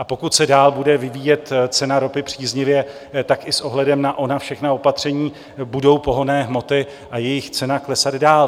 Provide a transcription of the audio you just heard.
A pokud se dál bude vyvíjet cena ropy příznivě, tak i s ohledem na ona všechna opatření budou pohonné hmoty a jejich cena klesat dál.